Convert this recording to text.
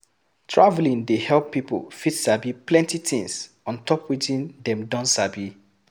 Traveling dey help pipo fit sabi plenty tins ontop wetin dem don sabi